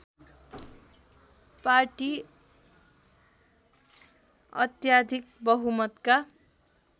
party अत्याधिक बहुमतका